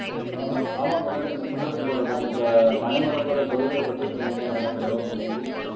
ஆஹ் ஆமா குணால் நீங்க சொன்னது போலதான் இப்ப பனைமரத்தோட தொழில்களைப் பத்தி சொன்னீங்க நல்லா தெளிவா புரிஞ்சது